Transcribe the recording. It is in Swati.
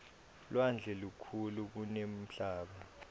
lwandle lukhulu kunemhlaba